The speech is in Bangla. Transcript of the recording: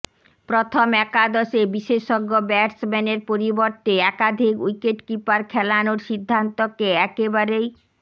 প্রথম একাদশে বিশেষজ্ঞ ব্যাটসম্যানের পরিবর্তে একাধিক উইকেটকিপার খেলানোর সিদ্ধান্তকে একেবারেই